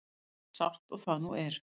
Eins sárt og það nú er.